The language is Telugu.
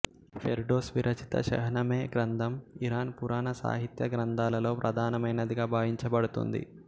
ఫెర్డోస్ విరచిత షహ్నమెహ్ గ్రంథం ఇరాన్ పురాణసాహిత్య గ్రంథాలలో ప్రధానమైనదిగా భావించబడుతుంది